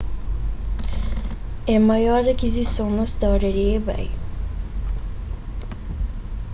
é maior akizison na storia di ebay